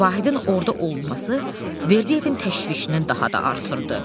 Vahidin orda olması Verdiyevin təşvişini daha da artırdı.